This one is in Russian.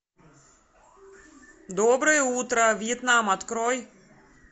доброе утро вьетнам открой